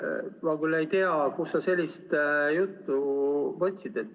Ma küll ei tea, kust sa sellise jutu võtad.